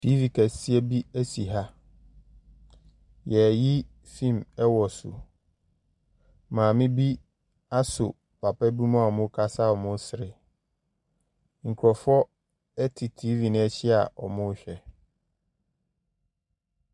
Tv kɛseɛ bi ase ha. Yɛyi fon ɛwɔ so. Maame bi asɔ papa bi mu aa ɔmmu kasa aa ɔmmu sere. Nkorɔfoɔ ɛte TV n'akyi aa ɔmmu hwɛ.